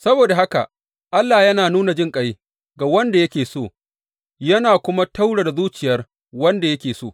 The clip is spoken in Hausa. Saboda haka Allah yana nuna jinƙai ga wanda yake so, yana kuma taurara zuciyar wanda yake so.